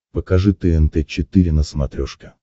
покажи тнт четыре на смотрешке